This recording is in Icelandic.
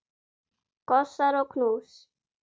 Kossar og knús.